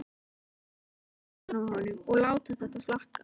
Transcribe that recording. Horfa beint í augun á honum og láta þetta flakka.